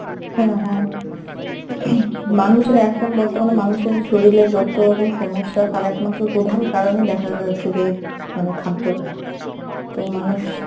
হ্যাঁ হ্যাঁ ing মানুষের এখন বর্তমানে মানুষের শরীলের যতরকম সমস্যা তার একমাত্র প্রধান কারণই দেখা যাচ্ছে এই মানে খাদ্য তো মানুষ